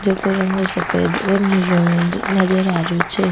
जेको रंग सफ़ेद और नीलो नजर आ रेहो छे।